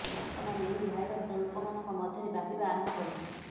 ବର୍ତ୍ତମାନ ଏହି ଭାଇରସ ଲୋକମାନଙ୍କ ମଧ୍ୟରେ ବ୍ୟାପିବା ଆରମ୍ଭ କରିଛି